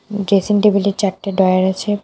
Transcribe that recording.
Dressing টেবিলের চারটে drawer আছে।